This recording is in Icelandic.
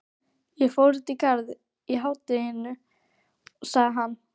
Ég fór út í Garðinn í hádeginu sagði hann.